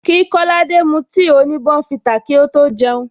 Kí kolade mu tea oni bournvita kí ó tó jeun